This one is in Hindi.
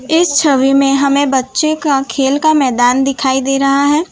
इस छवि में हमें बच्चे का खेल का मैदान दिखाई दे रहा है।